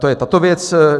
To je tato věc.